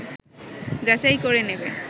যাচাই করে নেবে